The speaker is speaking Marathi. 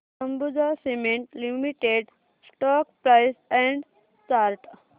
Ambuja cement limited stock price and chart